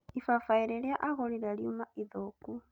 Ibaĩbaĩ rĩrĩa agũrire riuma ithũku